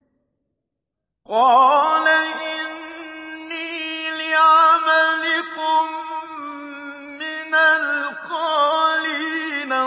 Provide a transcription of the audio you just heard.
قَالَ إِنِّي لِعَمَلِكُم مِّنَ الْقَالِينَ